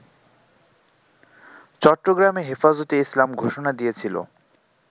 চট্টগ্রামে হেফাজতে ইসলাম ঘোষণা দিয়েছিল